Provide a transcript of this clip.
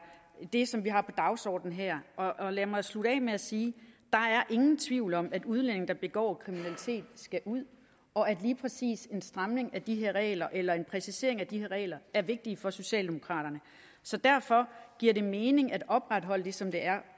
det som vi har på dagsordenen her og lad mig slutte af med at sige der er ingen tvivl om at udlændinge der begår kriminalitet skal ud og at lige præcis en stramning af de her regler eller en præcisering af de her regler er vigtigt for socialdemokraterne så derfor giver det mening at opretholde det som det er